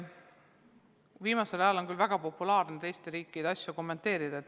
Viimasel ajal on väga populaarne teiste riikide asju kommenteerida.